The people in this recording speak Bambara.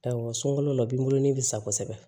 Awɔ sunkalo la o b'i bolo bɛ sa kosɛbɛ